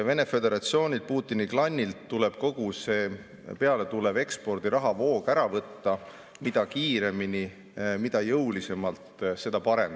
Vene Föderatsioonilt, Putini klannilt tuleb kogu see pealetulev ekspordi rahavoog ära võtta ja mida kiiremini, mida jõulisemalt, seda parem.